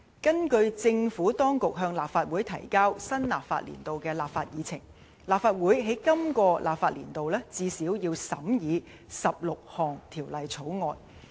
根據政府當局向立法會提交新立法年度的立法議程，立法會在今個立法年度最少要審議16項條例草案。